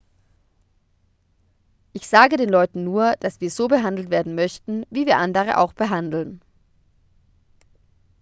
ich sage den leuten nur dass wir so behandelt werden möchten wie wir andere auch behandeln